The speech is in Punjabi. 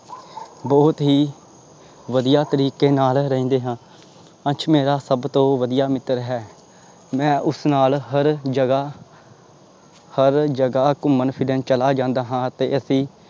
ਬਹੁਤ ਹੀ ਵਧੀਆ ਤਰੀਕੇ ਨਾਲ ਰਹਿੰਦੇ ਹਾਂ ਅੰਸ਼ ਮੇਰਾ ਸਭ ਤੋਂ ਵਧੀਆ ਮਿੱਤਰ ਹੈ ਮੈਂ ਉਸ ਨਾਲ ਹਰ ਜਗ੍ਹਾ ਹਰ ਜਗ੍ਹਾ ਘੁੰਮਣ ਫਿਰਨ ਚਲਾ ਜਾਂਦਾ ਹਾਂ ਤੇ ਅਸੀਂ